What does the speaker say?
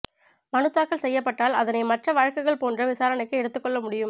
மனுத்தாக்கல் செய்யப்பட்டால் அதனை மற்ற வழக்குகள் போன்ற விசாரணைக்கு எடுத்துக்கொள்ள முடியும்